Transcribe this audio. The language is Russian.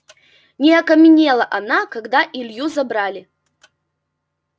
не окаменела она когда илью забрали